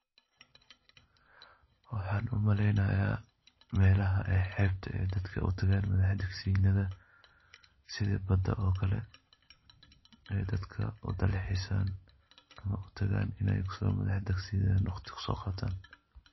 Waxaan u maleynayaa meelaha xeebta dadka u tagaan madax-degsinada, sida badda oo kale, ay dadka u dalxiisan ama u tagaan inay ku soo madax-degsidaan wakhti ku soo qaataan.